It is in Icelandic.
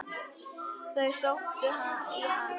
Þau sóttu í hann.